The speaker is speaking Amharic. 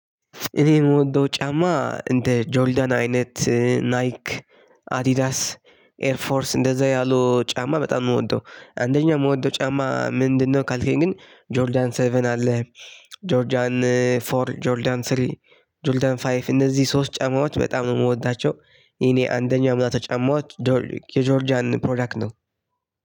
እኔ የምወደው ጫማ እንደ ጆልዳን አይነት ናይክ አዲዳስ ኤርፎርስ እንደዛ ያሉ ጫማ በጣም ነው ምወደው አንደኛ ምወደው ጫማ ምንድነው ካልከኝ ግን ጆርዳን ሰቨን አለ ጆርጃን ፎር ጆርጃን ስሪ ጆርጃን ፋይቭ እነዚህ ሶስት ጨማማዎች በጣም ነው የምወዳቸው። ይሄ አንደኛው አምላክ ጫማዎች ዶርሊክ የጆርጂያንን ፕሮዳክት ነው።